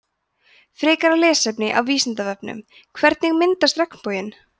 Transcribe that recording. frekara lesefni af vísindavefnum hvernig myndast regnboginn